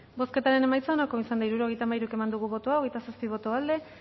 bozketaren emaitza onako izan da hirurogeita hamairu eman dugu bozka hogeita zazpi boto aldekoa